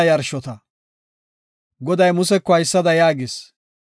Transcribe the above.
Goday Museko haysada yaagis;